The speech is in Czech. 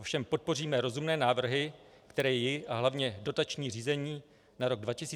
Ovšem podpoříme rozumné návrhy, které ji a hlavně dotační řízení na rok 2015 neohrozí.